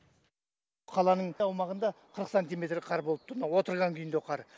қаланың аумағында қырық сантиметр қар болып тұр мына отырған күйіндегі қар